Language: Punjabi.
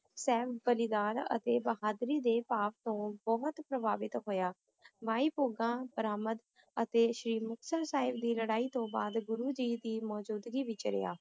ਸਵੈ-ਬਲੀਦਾਨ, ਅਤੇ ਬਹਾਦਰੀ ਦੇ ਭਾਵ ਤੋਂ ਬਹੁਤ ਪ੍ਰਭਾਵਿਤ ਹੋਇਆ ਮਾਈ ਭੌਗਾਂ ਬਰਾਮਦ ਅਤੇ ਸ੍ਰੀ ਮੁਕਤਸਰ ਸਾਹਿਬ ਦੀ ਲੜਾਈ ਤੋਂ ਬਾਅਦ ਗੁਰੂ ਜੀ ਦੀ ਮੌਜੂਦਗੀ ਵਿੱਚ ਰਿਹਾ।